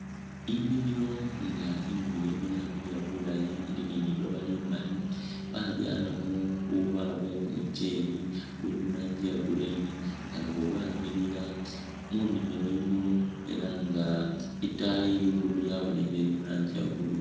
Inimilo nga inimilo eno yamiliya bulayi ili ni liloba limali, babyalamo bubala bwe kumucheeli buli muranji ye green nga nabwo bwamiliya ,munimilo yino ela nga itaayi ligulu lyabonekhele lili muranji ye blue